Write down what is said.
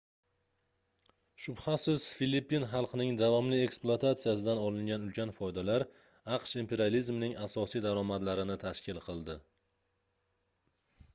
shubhasiz filippin xalqining davomli ekspluatatsiyasidan olingan ulkan foydalar aqsh imperializmining asosiy daromadlarini tashkil qiladi